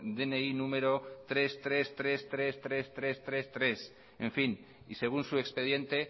dni número treinta y tres millónes trescientos treinta y tres mil trescientos treinta y tres y según su expediente